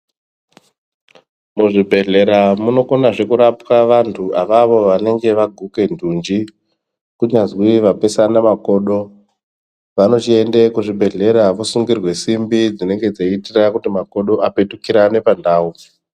Muzvibhedhlera munokonazve kurapwa vandu avavo vanenge vaguka ndunji kunyazwi vapesana makodo vanochiende kuzvibhedhlera vosungirwa simbi dzinenge dzeyiitira kuti makodo apetukirane pandau.